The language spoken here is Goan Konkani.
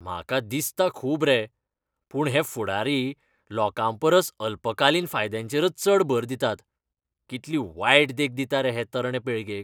म्हाका दिसता खूब रे, पूण हे फुडारी लोकांपरस अल्पकालीन फायद्यांचेरच चड भर दितात. कितली वायट देख दिता रे हे तरणे पिळगेक.